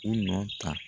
U nɔ ta